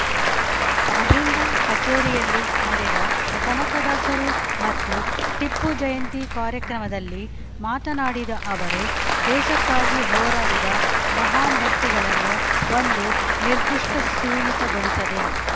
ಅಹಿಂದ ಕಚೇರಿಯಲ್ಲಿ ನಡೆದ ಕನಕದಾಸರು ಮತ್ತು ಟಿಪ್ಪು ಜಯಂತಿ ಕಾರ್ಯಕ್ರಮದಲ್ಲಿ ಮಾತನಾಡಿದ ಅವರು ದೇಶಕ್ಕಾಗಿ ಹೋರಾಡಿದ ಮಹಾನ್‌ ವ್ಯಕ್ತಿಗಳನ್ನು ಒಂದು ನಿರ್ಧಿಷ್ಟಸೀಮಿತಗೊಳಿಸದೆ